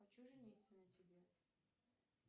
хочу жениться на тебе